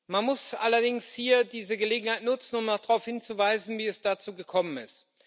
Man muss allerdings hier diese Gelegenheit nutzen, um mal darauf hinzuweisen, wie es dazu gekommen ist.